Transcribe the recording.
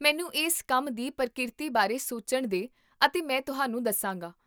ਮੈਨੂੰ ਇਸ ਕੰਮ ਦੀ ਪ੍ਰਕੀਰਤੀ ਬਾਰੇ ਸੋਚਣ ਦੇ ਅਤੇ ਮੈਂ ਤੁਹਾਨੂੰ ਦੱਸਾਂਗਾ